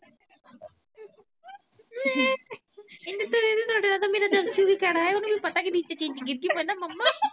ਮਿੰਠੂ ਦੀਦੀ ਤੁਹਾਡੇ ਨਾਲੋਂ ਤਾਂ ਮੇਰਾ ਜੱਸੂ ਵੀ ਕੈੜਾ ਏ ਉਨੂੰ ਵੀ ਪਤਾ ਕਿ ਚੀਜ ਨੀਚੇ ਗਿਰ ਗਈ ਹਨਾ ਮੰਮਾ